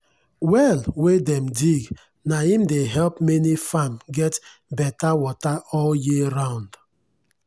well wen dem dig na im dey help many farm get betta wata all year round.